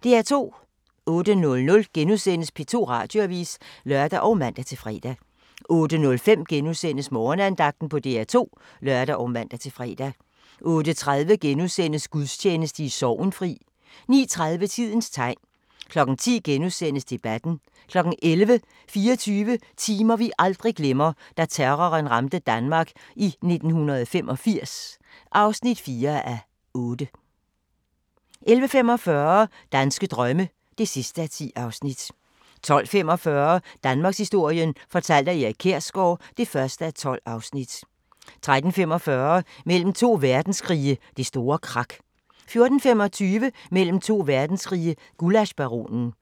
08:00: P2 Radioavis *(lør og man-fre) 08:05: Morgenandagten på DR2 *(lør og man-fre) 08:30: Gudstjeneste i Sorgenfri * 09:30: Tidens tegn 10:00: Debatten * 11:00: 24 timer, vi aldrig glemmer: Da terroren ramte Danmark i 1985 (4:8) 11:45: Danske drømme (10:10) 12:45: Danmarkshistorien fortalt af Erik Kjersgaard (1:12) 13:45: Mellem to verdenskrige – Det store krak 14:25: Mellem to verdenskrige – Gullaschbaronen